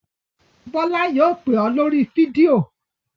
Bọ́lá yóò pè ọ́ lórí fídíò!